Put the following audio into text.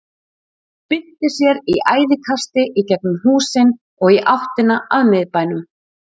Hann spyrnti sér í æðiskasti í gegnum húsin og í áttina að miðbænum.